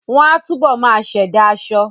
Wọ́n á túbọ̀ máa ṣẹ̀dá aṣọ